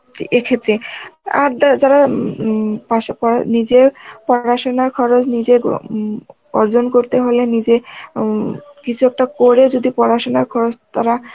এ ক্ষেত্রে, আর দা~ যারা উম উম পাসে পর~ নিজের পড়াশোনার খরচ নিজে গ্র উম অর্জন করতে হলে নিজে উম কিছু একটা করে যদি পড়াশোনার খরচ তারা